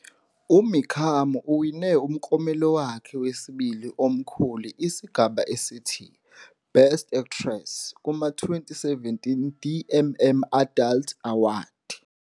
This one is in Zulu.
UMikami uwine umklomelo wakhe wesibili omkhulu isigaba esithi "Best Actress" kuma-2017 DMM Adult Award.